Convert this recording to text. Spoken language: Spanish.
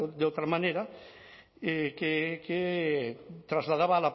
de otra manera que trasladaba